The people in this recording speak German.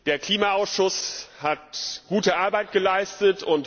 Der Klimaausschuss hat gute Arbeit geleistet.